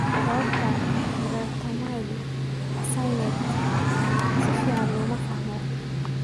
Sababta erythromelalgia aasaasiga ah si fiican looma fahmin.